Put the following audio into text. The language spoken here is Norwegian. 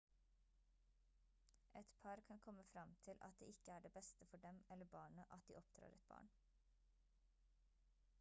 et par kan komme frem til at det ikke er det beste for dem eller barnet at de oppdrar et barn